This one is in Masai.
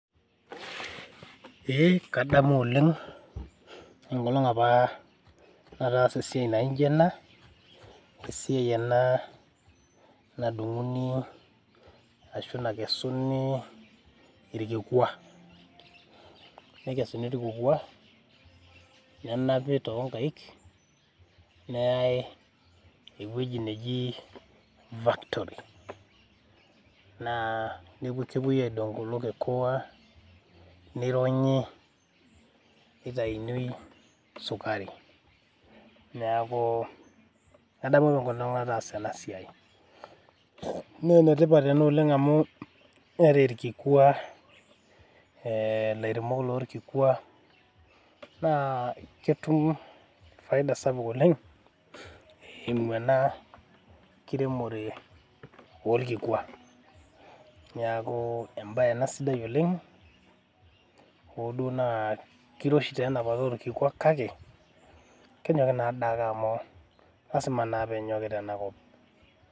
Ee kadamu oleng enkolong apa nataasa esiai naijo ena, esiai ena nadunguni ashu nakesuni irkikwa, nekesuni irkikwa nenapi toonkaik , neyay ewueji neji factory naa kepuoi aidong kulo kikwa , nironyi nitaini sukari , neeku adamu apa enkolong nataasa ena siai naa enetipat ena oleng amu ore irkikwa ee ilairemok loorkikwa naa ketum faida sapuk oleng eimu ena kiremore orkikwa . Niaku embae ena sidai oleng hoo duo naa kiroshi taa enapata okikwa kake kenyoki naade ake amu lasima naa penyoki tenakop.